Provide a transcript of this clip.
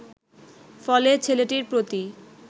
ফলে ছেলেটির প্রতি